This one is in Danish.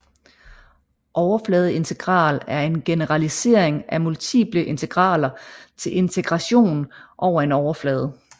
Overfladeintegral er en generalisering af multiple integraler til integration over en overflade